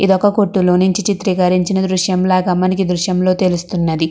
ఇది ఒక కొట్టులో నుండి చిత్రీకరించిన దృశ్యంలా మనకి ఈ దృశ్యంలో తెలుస్తున్నది.